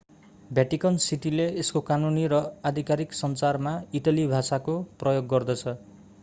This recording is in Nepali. भ्याटिकन सिटीले यसको कानूनी र आधिकारिक सञ्चारमा इटाली भाषाको प्रयोग गर्दछ